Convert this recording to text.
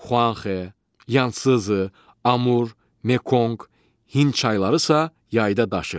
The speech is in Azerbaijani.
Xuanxe, Yanszı, Amur, Mekonq, Hind çayları isə yayda daşır.